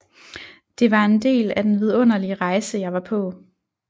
Det var en del af den vidunderlige rejse jeg var på